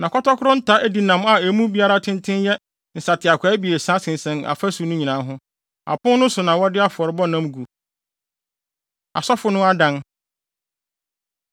Na kɔtɔkoro nta adinam a emu biara tenten yɛ nsateaakwaa abiɛsa sensɛn afasu no nyinaa ho. Apon no so na wɔde afɔrebɔ nam gu. Asɔfo No Adan